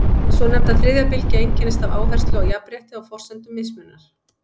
Hin svonefnda þriðja bylgja einkennist af áherslu á jafnrétti á forsendum mismunar.